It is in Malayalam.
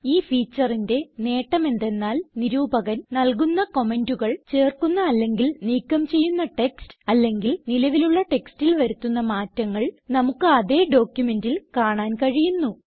ഈ featureന്റെ നേട്ടം എന്തെന്നാൽ നിരൂപകൻ നല്കുന്ന കമന്റുകൾ ചേർക്കുന്ന അല്ലെങ്കിൽ നീക്കം ചെയ്യുന്ന ടെക്സ്റ്റ് അല്ലെങ്കിൽ നിലവിലുള്ള ടെക്സ്റ്റിൽ വരുത്തുന്ന മാറ്റങ്ങൾ നമുക്ക് അതേ ഡോക്യുമെന്റിൽ കാണാൻ കഴിയുന്നു